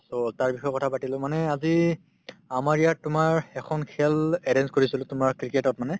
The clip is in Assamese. so, তাৰ বিষয়ে কথাপাতিলো মানে আজি আমাৰ ইয়াত তোমাৰ এখন খেল arrange কৰিছিলো তোমাৰ cricket ত মানে